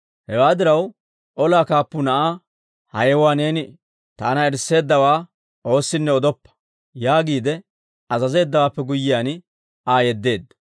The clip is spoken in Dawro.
Hewaa diraw, olaa kaappuu na'aa, «Ha yewuwaa neeni taana erisseeddawaa oossinne odoppa» yaagiide azazeeddawaappe guyyiyaan, Aa yeddeedda.